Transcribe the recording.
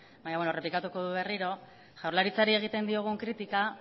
baina errepikatuko dut berriro jaurlaritzari egin diogun kritika